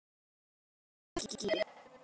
Stendur í púðurskýi.